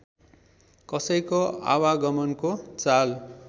कसैको आवागमनको चाल